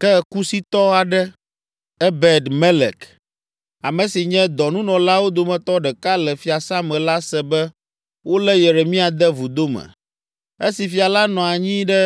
Ke Kusitɔ aɖe, Ebed Melek, ame si nye dɔnunɔlawo dometɔ ɖeka le fiasã me la se be wolé Yeremia de vudo me. Esi fia la nɔ anyi ɖe